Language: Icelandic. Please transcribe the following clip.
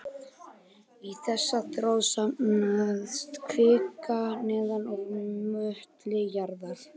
Í þessa þró safnast kvika neðan úr möttli jarðar.